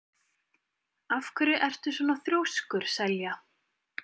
Af hverju ertu svona þrjóskur, Selja?